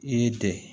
I y'i dege